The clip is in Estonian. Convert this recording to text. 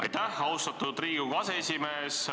Aitäh, austatud Riigikogu aseesimees!